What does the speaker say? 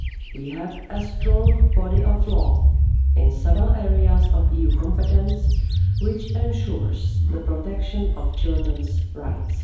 We have a strong body of law in several areas of EU competence, which ensures the protection of children's rights.